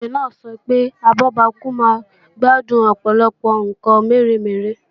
Ìjòyè náà sọ pé abọ́bakú máa gbádùn Ọ̀pọ̀lọpọ̀ ǹkan mèremère